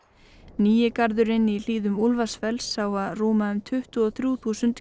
nýi garðurinn í hlíðum Úlfarsfells á að rúma um tuttugu og þrjú þúsund